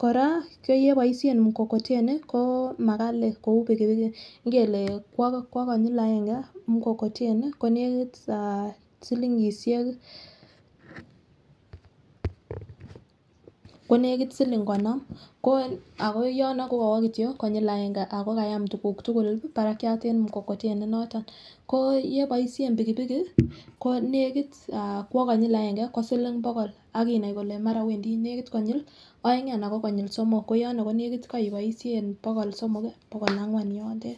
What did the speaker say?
koraa koyeboishe mkokoteni komagali kouu pigipigi ngelee kwoo konyiil aenge mkokoteni konegiit um aaah silingishek konegiit siling konoom ko ago yoon kogowo kityo konyiil agenge ago kayaam kityo tuguul barakyaat en mkokoteni inotoon, koo yeboishen pigipigi ko negiit kwoo konyil agenge konegit siling bogool ak inaai kole mara kwendii negiit konyiil oeng anan ko somook ko yono ko negiit koiboishen bogool somook bogool angwaan kwoo.